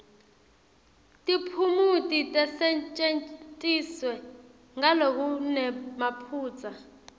tiphumuti tisetjentiswe ngalokunemaphutsa